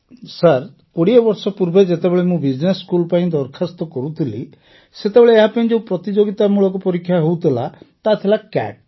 sir ୨୦ ବର୍ଷ ପୂର୍ବେ ଯେତେବେଳେ ମୁଁ ବିଜନେସ୍ ସ୍କୁଲ୍ ପାଇଁ ଦରଖାସ୍ତ କରୁଥିଲି ସେତେବେଳେ ଏହା ପାଇଁ ଯେଉଁ ପ୍ରତିଯୋଗିତାମୂଳକ ପରୀକ୍ଷା ହେଉଥିଲା ତାହା ଥିଲା କ୍ୟାଟ୍